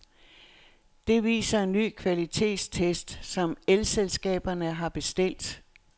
Det viser en ny kvalitetstest, som elselskaberne har bestilt.